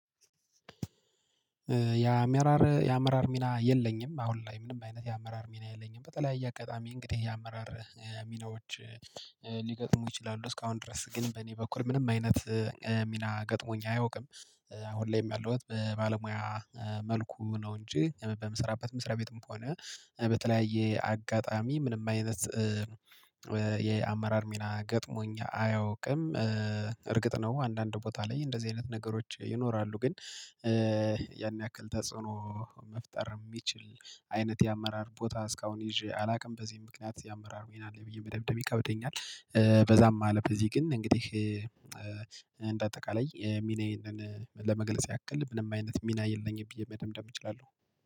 የ አመራር የአመራር ሚና የለኝም። አሁን ላይ ምንም አይነት የአመራር ሚና የለኝም። በተለያየ አጋጣሚ እንግዲህ የአመራር ሚናዎች ሊገጥሙ ይችላሉ እስካሁን ድረስ ግን በእኔ በኩል ምንም አይነት ሚና ገጥሞኝ አያውቅም። አሁን ላይም ያለሁት በባለሙያ መልኩ ነው እንጂ በምሰራበትም መስሪያ ቤትም ከሆነ በተለያየ አጋጣሚ ምንም አይነት የአመራር ሚና ገጥሞኝ አያውቅም። እርግጥ ነው አንዳንድ ቦታ ላይ እንደዚህ አይነት ነገሮች ይኖራሉ ግን ያን ያክል ተጽዕኖ መፍጠር የሚችል አይነት የአመራር ቦታ እስካሁን ይዤ አላውቅም። በዚህም ምክንያት የአመራር ሚና አለኝ ብዬ መደምደም ይከብደኛል። በዛም አለ በዚህ ግን እንግዲህ እንደ አጠቃላይ ሚናዬን ለመግለጽ ያክል ምንም አይነት ሚና የለኝም ብዬ መደምደም እችላለሁ።